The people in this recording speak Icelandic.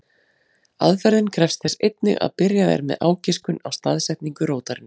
Aðferðin krefst þess einnig að byrjað er með ágiskun á staðsetningu rótarinnar.